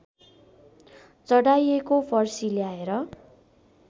चढाइएको फर्सी ल्याएर